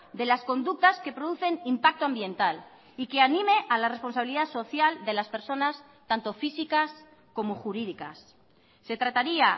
de las conductas que producen impacto ambiental y que anime a la responsabilidad social de las personas tanto físicas como jurídicas se trataría